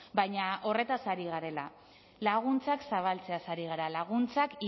baina horretaz ari garela laguntzak zabaltzeaz ari gara laguntzak